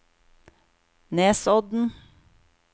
Nesodden